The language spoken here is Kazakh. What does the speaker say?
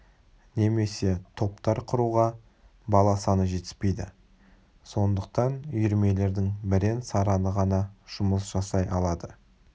немесе топтар құруға бала саны жетіспейді сондықтан үйірмелердің бірен-сараны ғана жұмыс жасай алады